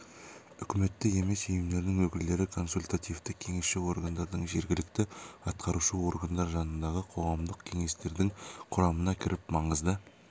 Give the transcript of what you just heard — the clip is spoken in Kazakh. үкіметтік емес ұйымдардың өкілдері консультативтік-кеңесші органдарының жергілікті атқарушы органдар жанындағы қоғамдық кеңестердің құрамына кіріп маңызды